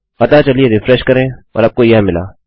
अतः चलिए रिफ्रेश करें और आपको यह मिला